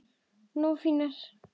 Nógu fínar?